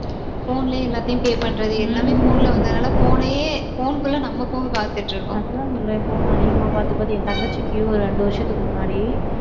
phone லயே எல்லாத்தையும் pay பண்றது எல்லாமே phone ல வந்ததுனால phone னயே phone க்குள்ள பாத்துட்டிருக்கோம் அதுதான் சொல்றேன் phone அதிகமா பார்த்து, பார்த்து, என் தங்கச்சிக்கு ஒரு ரெண்டு வருஷத்துக்கு முன்னாடி,